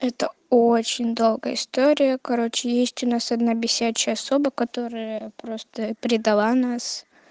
это очень долгая история короче есть у нас одна бесячая особа которая просто передала нас